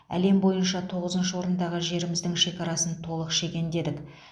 әлем бойынша тоғызыншы орындағы жеріміздің шекарасын толық шегендедік